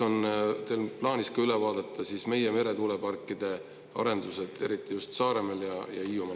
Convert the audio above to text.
… on teil plaanis üle vaadata ka meie meretuuleparkide arendused, eriti just Saaremaal ja Hiiumaal?